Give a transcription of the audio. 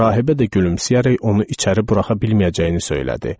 Rahibə də gülümsəyərək onu içəri buraxa bilməyəcəyini söylədi.